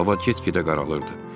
Hava get-gedə qaralırdı.